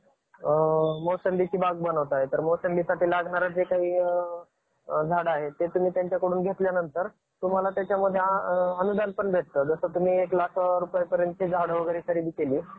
मोठा सण आहे. दिवाळी हा सण दिव्या~ दिव्यांना सण म्हणून ओळखला जातो. दिव्यांचा सॅन म्हणून ओळखला जातो.